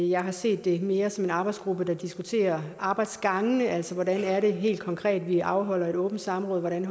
jeg har set det mere som en arbejdsgruppe der diskuterer arbejdsgangene altså hvordan det helt konkret er vi afholder et åbent samråd hvordan